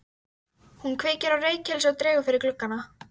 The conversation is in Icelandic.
Hún kveikir á reykelsi og dregur fyrir gluggana.